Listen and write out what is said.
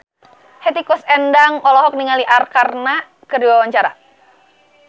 Hetty Koes Endang olohok ningali Arkarna keur diwawancara